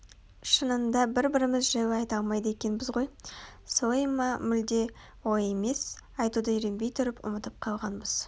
шынында бір-біріміз жайлы айта алмайды екенбіз ғой солай ма мүлде олай емес айтуды үйренбей тұрып ұмытып қалғанбыз